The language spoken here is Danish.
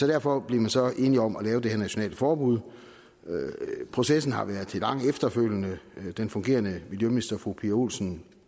derfor blev man så enige om at lave det her nationale forbud processen har været lidt lang efterfølgende den fungerende miljøminister fru pia olsen